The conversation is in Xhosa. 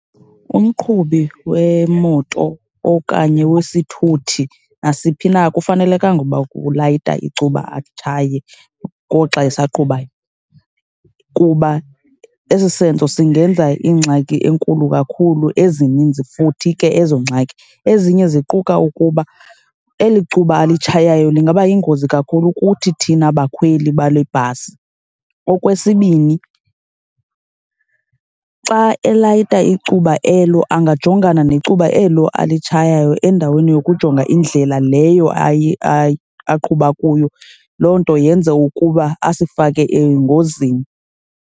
Umqhubi wemoto okanye wesithuthi nasiphi na akufanelekanga ukuba ulayita icuba atshayela ngoxa esaqhubayo kuba esi senzo singenza ingxaki enkulu kakhulu, ezininzi futhi ke ezo ngxaki. Ezinye ziquka ukuba eli cuba alitshayayo lingaba yingozi kakhulu kuthi thina bakhweli bale bhasi. Okwesibini xa elayita icuba elo angajongana necuba elo alitshayayo endaweni yokujonga indlela leyo aqhuba kuyo, loo nto yenze ukuba asifake engozini.